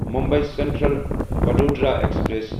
Mumbai central Vadodara express